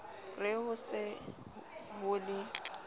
re ho se ho le